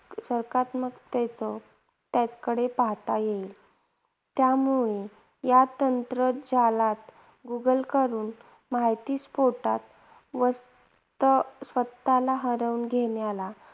सकारात्मकतेनं त्याकडे पाहता येईल. त्यामुळे या तंत्रजालात गुगलकडून माहिती स्फोटात व त स्वतःला हरवून घेण्याला